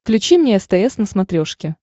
включи мне стс на смотрешке